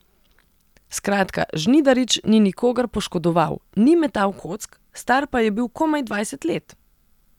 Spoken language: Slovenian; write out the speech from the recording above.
Skratka, Žnidarič ni nikogar poškodoval, ni metal kock, star pa je bil komaj dvajset let.